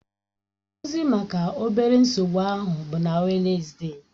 Nkụzi maka obere nsogbu ahụ bụ na Wednesde